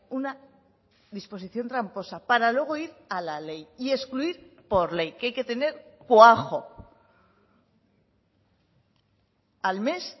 una disposición tramposa para luego ir a la ley y excluir por ley que hay que tener cuajo al mes